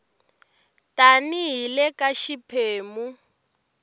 tani hi le ka xiphemu